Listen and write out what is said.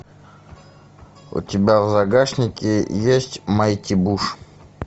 у тебя в загашнике есть майти буш